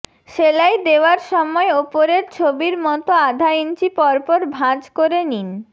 সেলাই দেওয়ার সময় ওপরের ছবিরমতো আধা ইঞ্চি পর পর ভাঁজ করে নিন